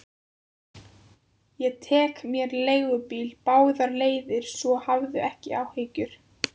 Ég tek mér leigubíl báðar leiðir, svo hafðu ekki áhyggjur.